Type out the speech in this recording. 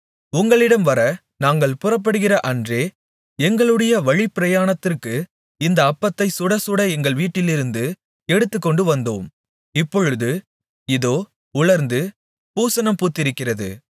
உங்களிடம் வர நாங்கள் புறப்படுகிற அன்றே எங்களுடைய வழிப்பிரயாணத்திற்கு இந்த அப்பத்தைச் சுடச்சுட எங்கள் வீட்டிலிருந்து எடுத்துக்கொண்டு வந்தோம் இப்பொழுது இதோ உலர்ந்து பூசணம் பூத்திருக்கிறது